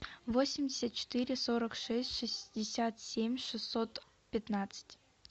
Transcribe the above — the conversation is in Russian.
восемьдесят четыре сорок шесть шестьдесят семь шестьсот пятнадцать